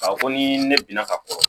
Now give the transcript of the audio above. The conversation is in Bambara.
Ka fɔ ko ni ne binna ka kɔrɔ